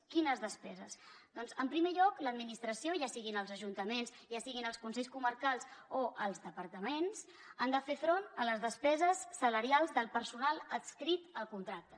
quines despeses doncs en primer lloc l’administració ja siguin els ajuntaments ja siguin els consells comarcals o els departaments han de fer front a les despeses salarials del personal adscrit al contracte